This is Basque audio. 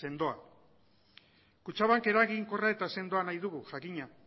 sendoak kutxabank eraginkorra eta sendoa nahi dugu jakina